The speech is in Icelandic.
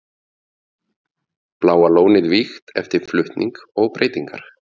Bláa lónið vígt eftir flutning og breytingar.